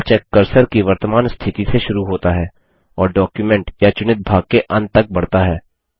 spellcheck cursor की वर्तमान स्थिति से शुरू होता है और डॉक्युमेंट या चुनित भाग के अंत तक बढ़ता है